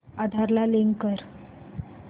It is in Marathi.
आधार ला लिंक कर